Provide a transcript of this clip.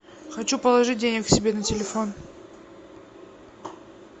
хочу положить денег себе на телефон